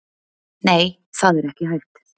Nei, það er ekki hægt.